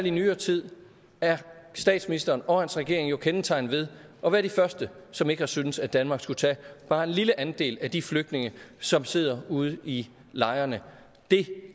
i nyere tid er statsministeren og hans regering jo kendetegnet ved at være de første som ikke har syntes at danmark skulle tage bare en lille andel af de flygtninge som sidder ude i lejrene det